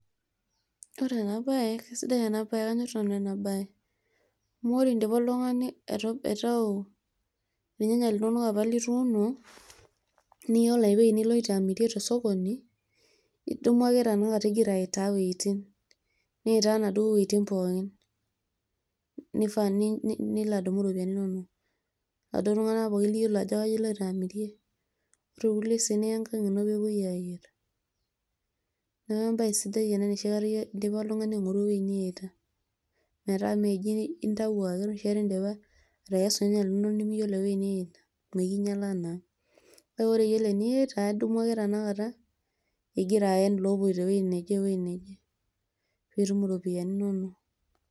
ore ena bae kisidai ena bae, kanyor nanu ena bae amu ore idipa oltungani aitau. irnyanya linonok apa lituuno, niyioolo ewueji nigira alo amirie tosokoni. idumu ake igira alo aitaa iwueitin, niya wuejitin pooki. nifaa pee ilo adumu iropiyiani. inonok. iladuoo tunganak liyiolo ajo kaji iloito amirie. ore sii piya ang nepuoi aayierishore.